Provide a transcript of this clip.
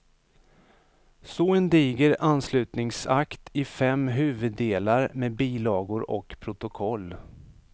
Så en diger anslutningsakt i fem huvuddelar med bilagor och protokoll.